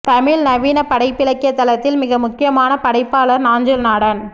தமிழ் நவீன படைப்பிலக்கிய தளத்தில் மிக முக்கியமான படைப்பாளர் நாஞ்சில்நாடன்